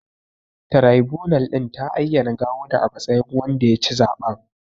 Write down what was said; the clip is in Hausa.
Taraibunal ɗin ta ayyana Gawuna a matsayin wanda ya ci zaɓen.